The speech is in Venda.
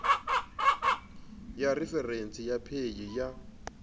ya referentsi ya paye ya